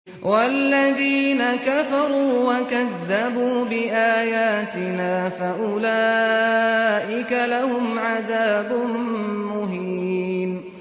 وَالَّذِينَ كَفَرُوا وَكَذَّبُوا بِآيَاتِنَا فَأُولَٰئِكَ لَهُمْ عَذَابٌ مُّهِينٌ